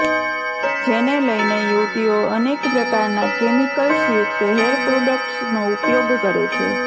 જેને લઇને યુવતીઓ અનેક પ્રકારના કેમિકલ્સ યુક્ત હેર પ્રોડક્ટ્સનો ઉપયોગ કરે છે